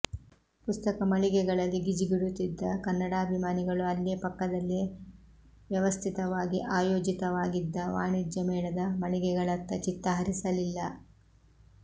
ಪುಸ್ತಕ ಮಳಿಗೆಗಳಲ್ಲಿ ಗಿಜಿಗುಡುತ್ತಿದ್ದ ಕನ್ನಡಾಭಿಮಾನಿಗಳು ಅಲ್ಲೇ ಪಕ್ಕದಲ್ಲೇ ವ್ಯವಸ್ಥಿತವಾಗಿ ಆಯೋಜಿತವಾಗಿದ್ದ ವಾಣಿಜ್ಯ ಮೇಳದ ಮಳಿಗೆಗಳತ್ತ ಚಿತ್ತ ಹರಿಸಲಿಲ್ಲ